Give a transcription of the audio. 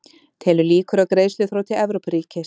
Telur líkur á greiðsluþroti Evrópuríkis